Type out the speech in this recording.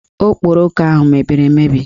Okporoko ahụ mebiri emebi